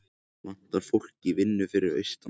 Vantar fólk í vinnu fyrir austan